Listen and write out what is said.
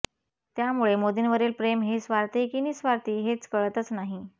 त्यामुळे मोदींवरील प्रेम हे स्वार्थी की निस्वार्थी हेच कळतच नाही